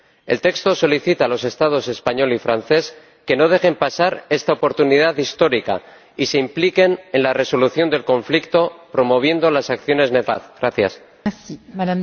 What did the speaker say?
El texto solicita a los Estados español y francés que no dejen pasar esta oportunidad histórica y se impliquen en la resolución del conflicto, promoviendo las acciones necesarias para alcanzar la paz.